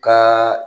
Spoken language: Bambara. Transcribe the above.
Kaaa